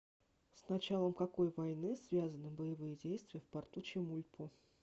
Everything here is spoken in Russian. с началом какой войны связаны боевые действия в порту чемульпо